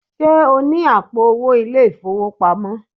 Ṣé o ní àpò owó ilé-ìfowópamọ́?